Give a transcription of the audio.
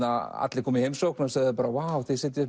allir komu í heimsókn og sögðu þið sitjið